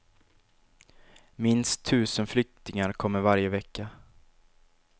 Minst tusen flyktingar kommer varje vecka.